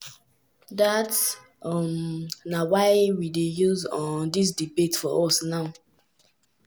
dat um na why we dey see um dis debate for us now."